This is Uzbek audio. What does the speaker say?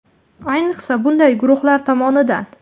Ayniqsa bunday guruhlar tomonidan.